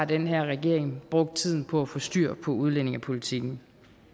den her regering brugt tiden på at få styr på udlændingepolitikken